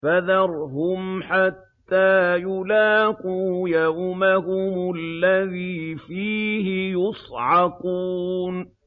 فَذَرْهُمْ حَتَّىٰ يُلَاقُوا يَوْمَهُمُ الَّذِي فِيهِ يُصْعَقُونَ